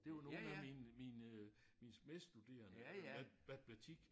Det var nogle af mine mine øh mine medstuderende øh matematik